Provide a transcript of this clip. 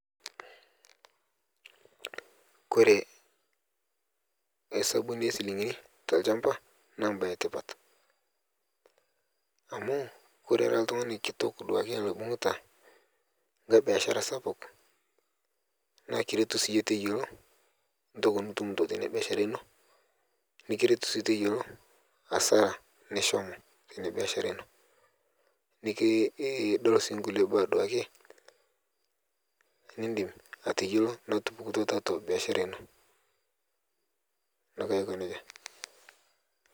kore emaesabuni esilinkini te lshampa naa mbai etipat, amu kore ira ltung'ani kitok duake loibung'ta ng'ai biashara sapuk naa kiretu sii yie teyeloo ntoki nitum taatua inia biashara inoo nikiretu sii teyelo hasara nishomo teinia biashara inoo nidol sii nkulie baa duake nindim ateyolo natupukutwa taatua biashara inoo naake aiko neja.